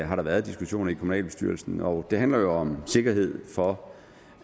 har der været diskussioner i kommunalbestyrelsen og det handler jo om sikkerhed for